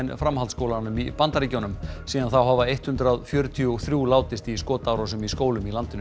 framhaldsskólanum í Bandaríkjunum síðan þá hafa eitt hundrað fjörutíu og þrjú látist í skotárásum í skólum í landinu